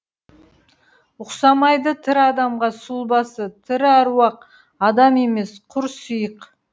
ұқсамайды тірі адамға сұлбасы тірі аруақ адам емес құр сиық